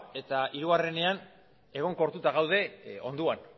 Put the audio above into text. eta hirugarrenean egonkortuta gaude hondoan